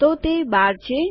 તો તે ૧૨ છે